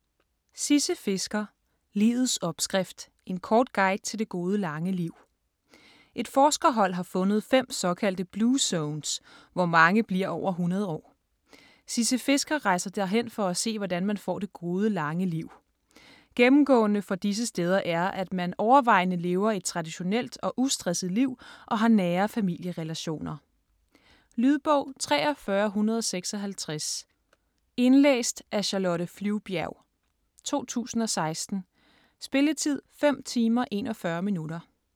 Fisker, Sisse: Livets opskrift: en kort guide til det gode lange liv Et forskerhold har fundet 5 såkaldte blue zones, hvor mange bliver over 100 år. Sisse Fisker rejser derhen for at se hvordan man får det gode lange liv. Gennemgående for disse steder er, at man overvejende lever et traditionelt og ustresset liv og har nære familierelationer. Lydbog 43156 Indlæst af Charlotte Flyvbjerg, 2016. Spilletid: 5 timer, 41 minutter.